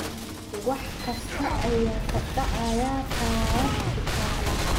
wax kasta ayaa ka dhacaya taarab kitaale